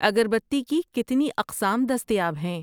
اگربتی کی کتنی اقسام دستیاب ہیں؟